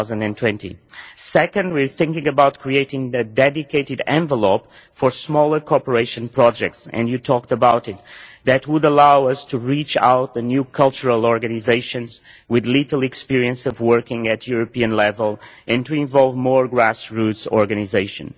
2020. Secondly, we are thinking about creating a dedicated envelope for smaller cooperation projects and you talked about it that would allow us to reach out to new cultural organisations with little experience of working at European level and to involve more grass roots organisations.